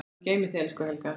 Guð geymi þig, elsku Helga.